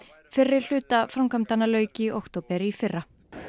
fyrri hluta framkvæmdanna lauk í október í fyrra